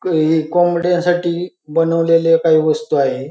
क हे कोंबड्यांसाठी बनवेलेल्या काही वस्तु आहे.